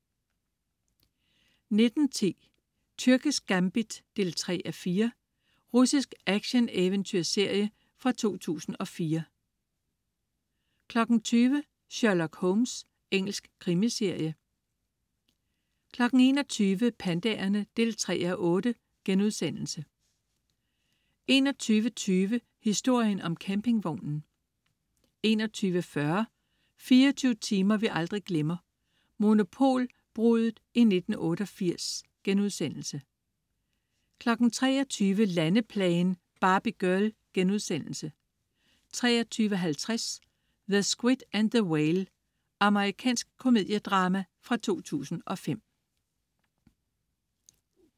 19.10 Tyrkisk gambit 3:4. Russisk action-eventyrserie fra 2004 20.00 Sherlock Holmes. Engelsk krimiserie 21.00 Pandaerne 3:8* 21.20 Historien om campingvognen 21.40 24 timer vi aldrig glemmer: Monopolbruddet i 1988* 23.00 Landeplagen. Barbie girl* 23.50 The Squid and the Whale. Amerikansk komediedrama fra 2005